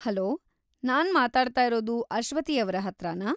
Hello, ನಾನ್‌ ಮಾತಾಡ್ತಾ ಇರೋದು ಅಶ್ವತಿಯವ್ರ ಹತ್ರಾನಾ?